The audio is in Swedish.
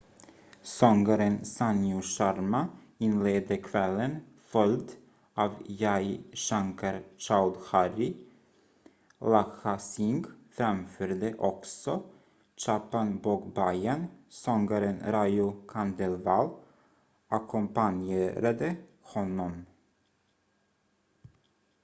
sångaren sanju sharma inledde kvällen följd av jai shankar choudhary lakkha singh framförde också chhappan bhog bhajan sångaren raju khandelwal ackompanjerade honom